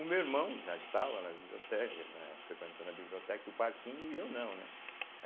O meu irmão já estava na bibliote eh, frequentando a biblioteca e o Parquinho, e eu não, né.